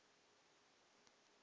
monna o ka re di